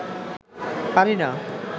পারি না